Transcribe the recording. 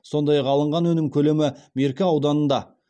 сондай ақ алынған өнім көлемі меркі ауданында